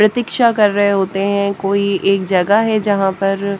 प्रतीक्षा कर रहे होते हैं कोई एक जगह है जहां पर--